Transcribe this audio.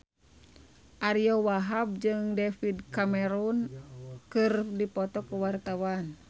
Ariyo Wahab jeung David Cameron keur dipoto ku wartawan